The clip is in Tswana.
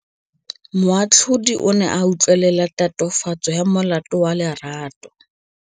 Moatlhodi o ne a utlwelela tatofatsô ya molato wa Lerato.